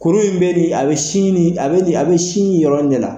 Kuru in bɛ ni a bɛ sin ni bɛ ni a bɛ sin nii yɔrɔ in de la.